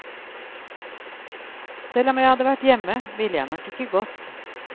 Selv om jeg hadde vært hjemme ville jeg nok ikke gått.